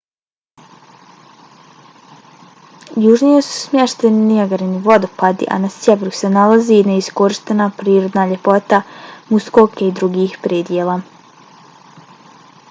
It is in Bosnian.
južnije su smješteni nijagarini vodopadi a na sjeveru se nalazi neiskorištena prirodna ljepota muskoke i drugih predjela